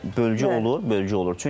Bəli, bölgü olur, bölgü olur.